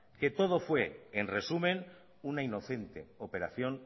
que todo fue en resumen una inocente operación